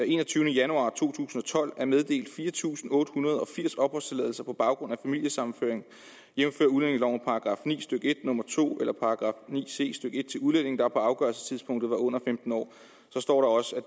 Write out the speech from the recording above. enogtyvende januar to tusind og tolv er meddelt fire tusind otte hundrede og firs opholdstilladelser på baggrund af familiesammenføring jævnfør udlændingeloven § ni stykke en nummer to eller § ni c stykke en til udlændinge der på afgørelsestidspunktet var under femten år så står der også at